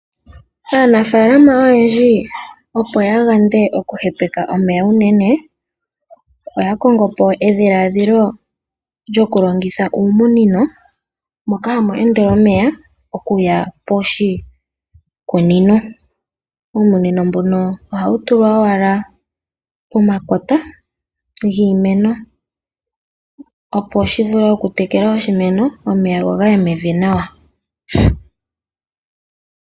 Aanafaalama oyendji opo ya yande okuhepeka omeya unene, oya kongo po edhiladhilo lyokulongitha uumunino moka hamu endele omeya okuya poshimeno. Uumunino mbuno ohawu tulwa owala pomakota giimeno, opo wu vule okutekela oshimeno go gaye mevi nawa.